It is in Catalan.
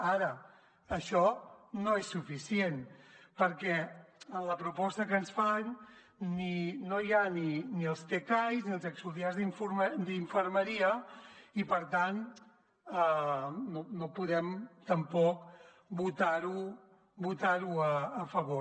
ara això no és suficient perquè en la proposta que ens fan no hi han ni els tcais ni els auxiliars d’infermeria i per tant no podem tampoc votar hi a favor